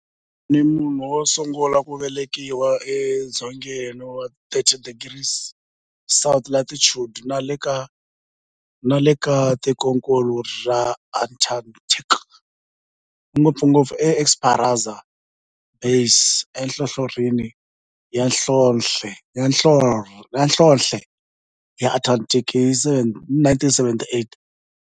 A ri munhu wosungula ku velekiwa e dzongeni wa 60 degrees south latitude nale ka tikonkulu ra Antarctic, ngopfungopfu e Esperanza Base enhlohlorhini ya nhlonhle ya Antarctic hi 1978.